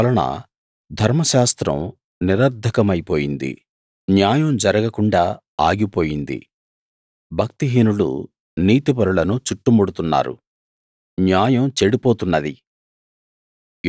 అందువలన ధర్మశాస్త్రం నిరర్థకమై పోయింది న్యాయం జరగకుండా ఆగిపోయింది భక్తి హీనులు నీతిపరులను చుట్టుముడుతున్నారు న్యాయం చెడిపోతున్నది